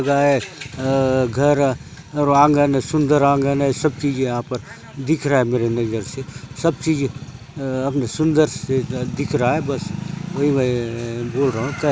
ये काय आय ये घर र अउर आंगन र सुंदर आंगन है सब चीज है यहाँ पर दिख रहा है मेरी नजर से सब चीज सुंदर से दिख रहा है वही मैं बोल रहा हूं कै --